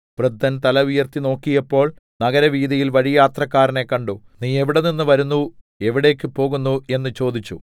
വൃദ്ധൻ തലയുയർത്തി നോക്കിയപ്പോൾ നഗരവീഥിയിൽ വഴിയാത്രക്കാരനെ കണ്ടു നീ എവിടെനിന്ന് വരുന്നു എവിടേക്ക് പോകുന്നു എന്ന് ചോദിച്ചു